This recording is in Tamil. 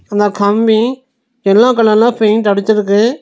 அந்த கம்பி எல்லோ கலர்ல பெயிண்ட் அடிச்சிருக்கு.